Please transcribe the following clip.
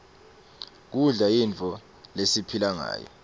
kudla yinto lesiphilangayo